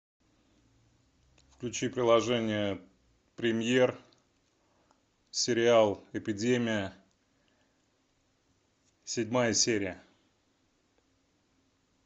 включи приложение премьер сериал эпидемия седьмая серия